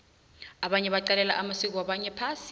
abanye baqalela amasiko wabanye phasi